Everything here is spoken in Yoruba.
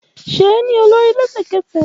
Ṣe e ni olori lẹsẹkẹsẹ!